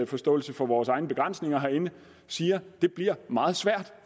forståelse for vores egne begrænsninger herinde siger det bliver meget svært